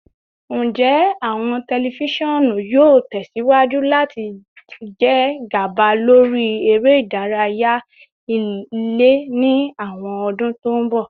Njẹ awọn tẹlifisiọnu yoo tẹsiwaju lati jẹ gaba lori ere idaraya ile ni awọn ọdun to n bọ?